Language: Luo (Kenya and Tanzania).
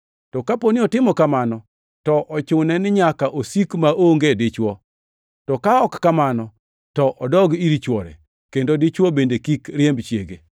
To kapo ni otimo kamano, to ochune ni nyaka osik maonge dichwo, to ka ok kamano to odog ir chwore, kendo dichwo bende kik riemb chiege.